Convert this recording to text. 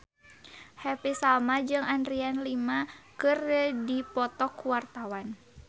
Happy Salma jeung Adriana Lima keur dipoto ku wartawan